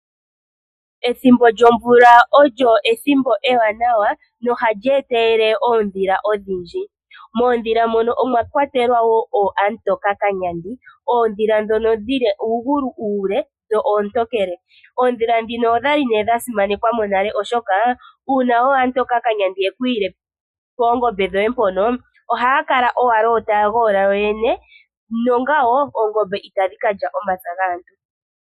Ethimbo lyomvula olyo ethimbo ewanawa nohalyi etelele oondhila odhindji. Moondjila mono omwa kwatelwa wo ookamutokakanyandi, oondhila ndhono dhi na uugulu uule, dho oontokele. Oondhila ndhino odha li nee dha simanekwa monale oshoka uuna ookamutokakanyandi yekuyila poongombe dhoye mpono, ohaya kala owala taya goola kuyoyene, nongawo oongombe itadhi kakya omapya gaantu.